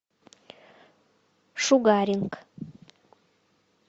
шугаринг